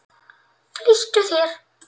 Flýttu þér!